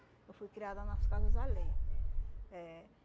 Eu fui criada nas casas alheia. É.